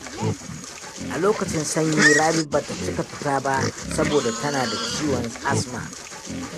A lokacin sanyi Rabi ba ta cika fita ba saboda tana da ciwon asma.